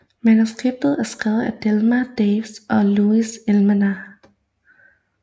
Manuskriptet er skrevet af Delmer Daves og Lou Edelman